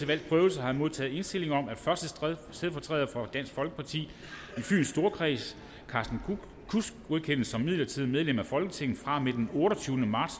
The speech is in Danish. valgs prøvelse har jeg modtaget indstilling om at første stedfortræder for dansk folkeparti i fyns storkreds carsten kudsk godkendes som midlertidigt medlem af folketinget fra og med den otteogtyvende marts